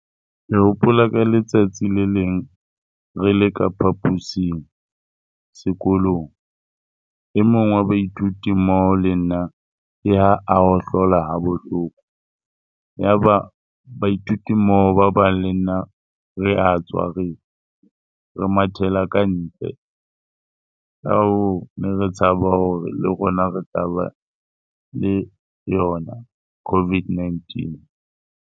Ke hopola ka letsatsi le leng re le ka phapusing sekolong. E mong wa baithuti mmoho le nna ke ha a hohlola ha bohloko. Yaba baithuti mmoho ba bang le nna re a tswa re mathela ka ntle. Ka hoo, ne re tshaba hore le rona re tla ba le yona COVID-19.